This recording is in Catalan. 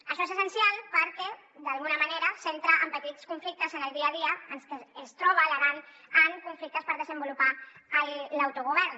això és essencial perquè d’alguna manera s’entra en petits conflictes en el dia a dia en què es troba l’aran en conflictes per desenvolupar l’autogovern